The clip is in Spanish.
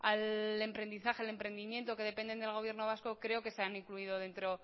al emprendizaje al emprendimiento que dependen del gobierno vasco creo que se han incluido dentro